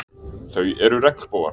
Þau eru regnbogar.